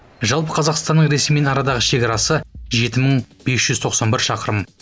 жалпы қазақстанның ресеймен арадағы шекарасы жеті мың бес жүз тоқсан бір шақырым